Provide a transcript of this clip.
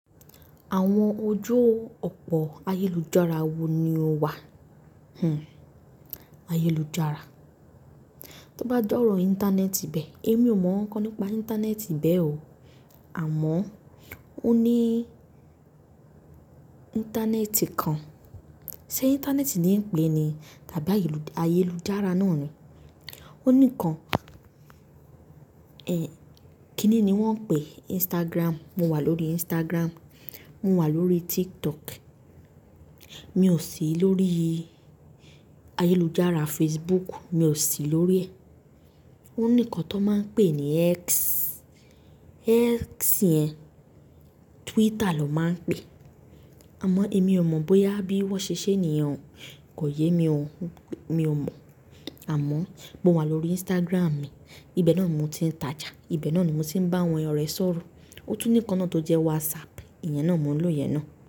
Àwọn ojú òpó ayélujára wo ni ó wà? Hmmm ayélujára. Tí ó bá j'ọ́rọ̀ Íńtánẹ́ẹ̀tì bẹ́ẹ̀, èmi ò mọ ǹkan nípa Íńtánẹ́ẹ̀tì bẹ́ẹ̀ o. Àmọ́ ó ní Íńtánẹ́ẹ̀tì kan, ṣé Íńtánẹ́ẹ̀tì ni ń pè é ni tàbí ayélujára náà ni? Ó ní kan, ẹ́ kínni ni wọ́n ń pè Instagram? Mo wà lórí Instagram, mo wà lórí TikTok, mi ò sí lórí ayélujára Facebook, mi ò sí lórí ẹ́. Ó ní kan tó máa ń pè ní X. X yẹn Twitter lọ máa ń pè é. Àmọ́ èmi ò mọ bóyá bí wọ́n ṣe ṣe é nìyen o kò yé mi o, mi ò mọ. Àmọ́ mo wà lórí Instagram mi, ibẹ̀ náà ni mò ń ti ntàjà, ibẹ̀ náà ni mò ń tí ń bá àwọn ọ̀rẹ́ sọ̀rọ̀. Ó tún ní kan náà tó jẹ́ WhatsApp, ìyẹn náà mò ń lò ìyẹn náà.